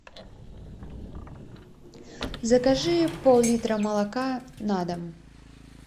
закажи пол литра молока на дом